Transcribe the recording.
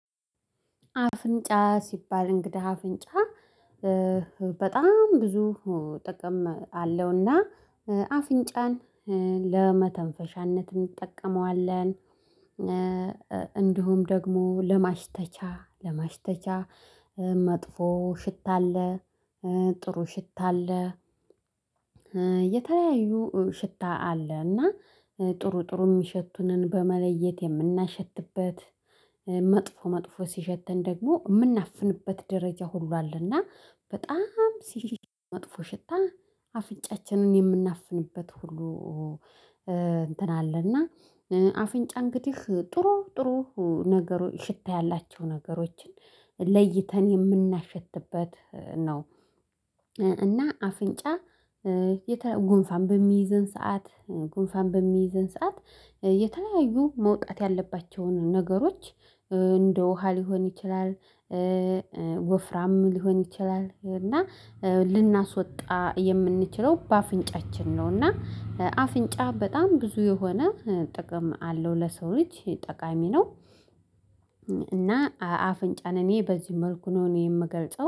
አፍንጫ ሲባል እንግዳ አፍንጫ በጣም ብዙ ጥቅም አለውና አፍንጫን ለመተንፈሻነት እንጠቀመዋለን። እንዲሁም ደግሞ ለማሽተቻ ለማሽተቻ መጥፎ ሽታ አለ ጥሩ ሽታ አለ። የተለያዩ ሽታ አለ እና ጥሩ ጥሩ ሚሸቱንን በመለየት የምናሸትበት መጥፎ መጥፎ ሲሸተን ደግሞ የምናፍንበት ደረጃ ሁሉ አለ። እና በጣም ሲል መጥፎ ሽታ አፍንጫችንን የምናፍንበት ሁሉ። እንትን አለና አፍንጫ እንግዲህ ጥሩ ጥሩ ነገሮች ሽታ ያላቸው ነገሮችን ለይተን የምናሸትበት ነው። እና አፍንጫ ጉንፋን በሚይዝን ሰዓት ጉንፋን በሚይዘን ሰዓት የተለያዩ መውጣት ያለባቸውን ነገሮች እንደ ውሃ ሊሆን ይችላል። ወፍራም ሊሆን ይችላል እና ልናስወጣ የምንችለው በአፍንጫችን ነው። እና አፍንጫ በጣም ብዙ የሆነ ጥቅም አለው ለሰው ልጅ ጠቃሚ ነው። እና አፍንጫን እኔ በዚህ መልኩ ነው እኔ የምገልጸው